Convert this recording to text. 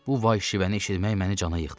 Bu vahşilikləri eşitmək məni cana yıxdı.